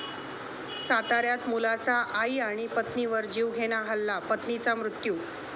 साताऱ्यात मुलाचा आई आणि पत्नीवर जीवघेणा हल्ला, पत्नीचा मृत्यू